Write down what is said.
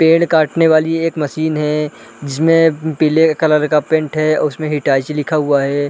पेड़ काटने वाली एक मशीन है जिसमें पीले कलर का पेंट है उसमें हिताची लिखा हुआ है।